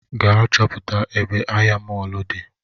Gaa chọpụta ebe ahịa mọlụ di